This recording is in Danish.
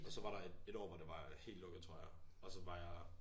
Og så var der et ét år hvor det var helt lukket tror jeg og så var jeg